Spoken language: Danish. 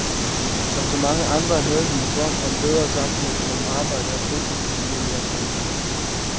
Som så mange andre havde de en drøm om bedre sammenhæng mellem arbejde og fritid, familie og samvær.